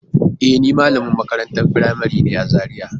E, ni malamin makarantar firamari ne a Zariya.